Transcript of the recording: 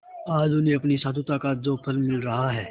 आज उन्हें अपनी साधुता का जो फल मिल रहा है